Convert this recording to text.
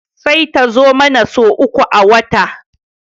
Sai ta zo mana sau uku a wata